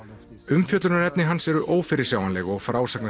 umfjöllunarefni hans eru ófyrirsjáanleg og